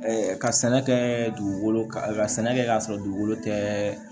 ka sɛnɛ kɛ dugukolo ka sɛnɛ kɛ k'a sɔrɔ dugukolo tɛ